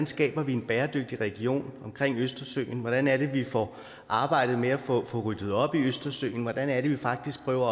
skaber en bæredygtig region omkring østersøen hvordan vi får arbejdet med at få ryddet op i østersøen hvordan vi faktisk prøver at